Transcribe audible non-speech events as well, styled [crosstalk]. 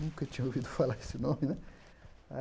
Nunca tinha ouvido [laughs] falar esse nome, né?